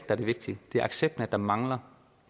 er det vigtige det er accepten af at der mangler